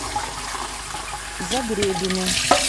загребину